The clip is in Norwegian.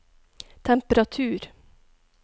temperatur